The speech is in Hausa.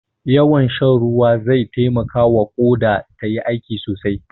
Yawan shan ruwa zai taimakawa Ƙoda tayi aiki sosai.